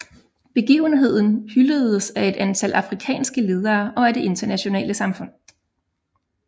Begivenheden hyldedes af et antal afrikanske ledere og af det internationale samfund